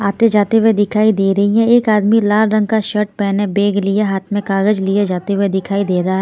आते जाते हुए दिखाई दे रही है एक आदमी लाल रंग का शर्ट पहने बैग लिया हाथ में कागज लिए जाते हुए दिखाई दे रहा है.